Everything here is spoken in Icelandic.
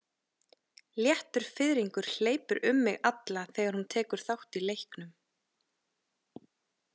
Léttur fiðringur hleypur um mig alla þegar hún tekur þátt í leiknum.